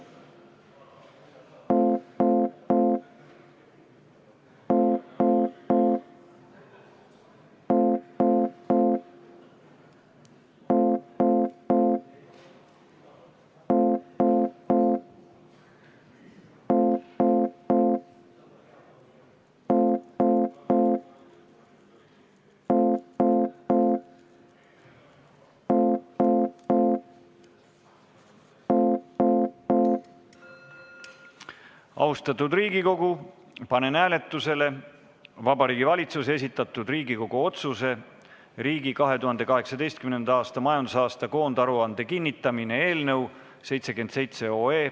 Austatud Riigikogu, panen hääletuse Vabariigi Valitsuse esitatud Riigikogu otsuse "Riigi 2018. aasta majandusaasta koondaruande kinnitamine" eelnõu 77.